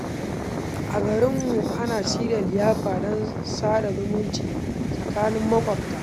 A garinmu, ana shirya liyafa don sada zumunci tsakanin maƙwabta.